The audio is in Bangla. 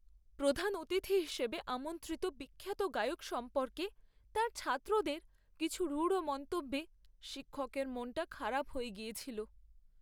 প্রধান অতিথি হিসেবে আমন্ত্রিত বিখ্যাত গায়ক সম্পর্কে তাঁর ছাত্রদের কিছু রূঢ় মন্তব্যে শিক্ষকের মনটা খারাপ হয়ে গিয়েছিল।